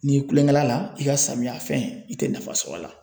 N'i kulonkɛ la la i ka samiya fɛn i te nafa sɔr'a la